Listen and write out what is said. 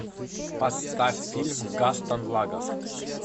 поставь фильм гастон лагафф